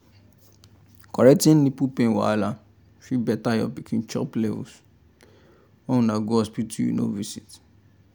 correcting nipple pain wahala fit better your pikin chop levels when una go hospital you know visit